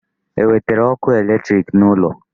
E wetere ọkụ electric n'ụlọ?